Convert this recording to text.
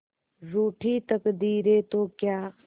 रूठी तकदीरें तो क्या